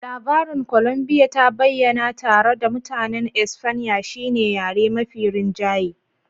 Labarin Colombia ta bayyana tare da Mutanen Espanya shine yare mafi rinjaye